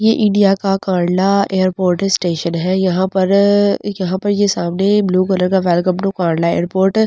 ये इंडिया का Kandla airport station है यहाँ पर यहाँ पर ये सामने ब्लू कलर का welcome to Kandla airport uh bay--